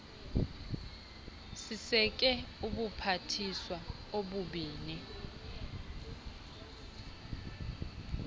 siseke ubuphathiswa obubini